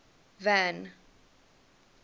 van